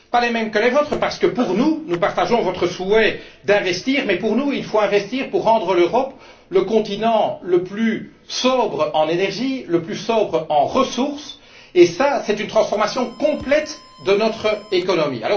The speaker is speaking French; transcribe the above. Pas les mêmes que les vôtres parce que, pour nous, nous partageons votre souhait d'investir mais, pour nous, il faut investir pour rendre l'Europe le continent le plus sobre en énergie, le plus sobre en ressources et cela, c'est une transformation complète de notre économie.